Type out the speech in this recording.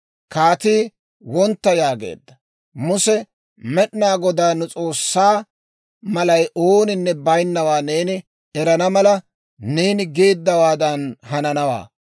Kaatii, «Wontta» yaageedda. Muse, «Med'inaa Godaa Nu S'oossaa, malay ooninne baynnawaa neeni erana mala, neeni geeddawaadan hananawaa.